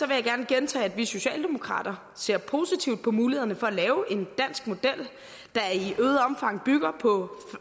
jeg gerne gentage at vi socialdemokrater ser positivt på mulighederne for at lave en dansk model der i øget omfang bygger på